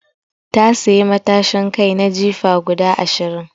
Ta sayi matashin kai na jifa guda Ashirin